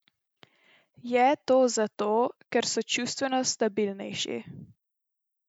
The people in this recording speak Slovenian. Je to zato, ker so čustveno stabilnejši?